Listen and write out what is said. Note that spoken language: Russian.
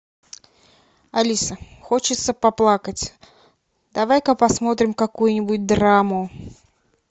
алиса хочется поплакать давай ка посмотрим какую нибудь драму